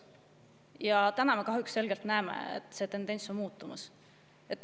Ja täna me kahjuks selgelt näeme, et see tendents on muutumas.